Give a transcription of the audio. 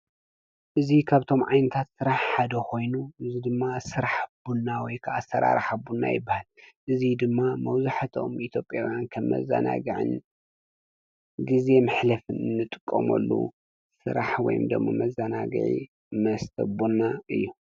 እዙይ ኻብቶም ዓይንታት ሥራሕ ሓደ ኾይኑ ዝ ድማ ሥራሕ ኣቡና ወይከኣሠራ ረሕቡና ኣይበሃል እዙይ ድማ መውዙሕተኦም ኢቲጴውያን ከብ መዛናግዕን ጊዜ ምኅልፍን እንጥቆሞሉ ሥራሕ ወይምደሞ መዛናግዒ መስተቡና እዩ።